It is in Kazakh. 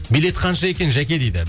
билет қанша екен жәке дейді